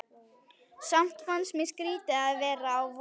Samt fannst mér skrýtið að vera á Vogi.